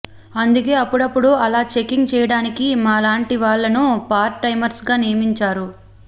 అందుకే అప్పుడప్పుడు ఇలా చెకింగ్ చేయడానికి మా లాంటి వాళ్ళను పార్ట్ టైమర్స గా నియమించారు